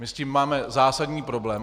My s tím máme zásadní problém.